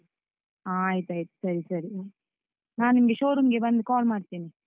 ಹ ಆಯ್ತಾಯ್ತು ಸರಿ ಸರಿ, ನಾನ್ ನಿಮ್ಗೆ showroom ಗೆ ಬಂದು call ಮಾಡ್ತೇನೆ.